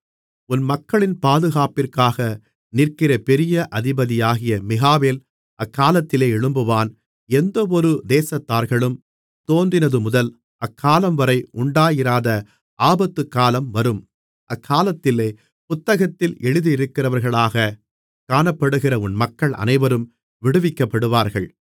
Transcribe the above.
உன் மக்களின் பாதுகாப்பிற்காக நிற்கிற பெரிய அதிபதியாகிய மிகாவேல் அக்காலத்திலே எழும்புவான் எந்தவொரு தேசத்தார்களும் தோன்றினதுமுதல் அக்காலம்வரை உண்டாயிராத ஆபத்துக்காலம் வரும் அக்காலத்திலே புத்தகத்தில் எழுதியிருக்கிறவர்களாகக் காணப்படுகிற உன் மக்கள் அனைவரும் விடுவிக்கப்படுவார்கள்